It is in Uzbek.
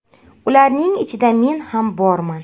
Ularning ichida men ham borman.